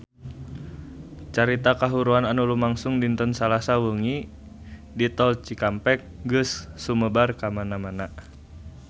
Carita kahuruan anu lumangsung dinten Salasa wengi di Tol Cikampek geus sumebar kamana-mana